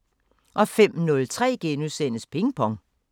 05:03: Ping Pong *